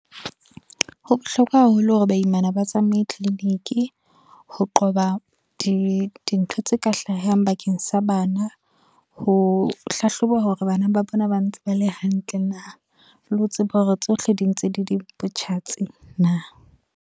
Ho bohlokwa haholo hore baimana ba tsamaye tliliniki, ho qoba dintho tse ka hlahang bakeng sa bana, ho hlahloba hore bana ba bona bantse bale hantle na le ho tseba hore tsohle di ntse di di botjhatsi na.